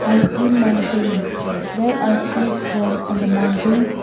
i see mountains there are trees grown on the mountains.